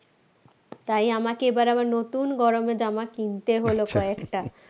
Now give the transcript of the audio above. তাই আমাকে এবার আবার নতুন গরমের জামা কিনতে হলো কয়েকটা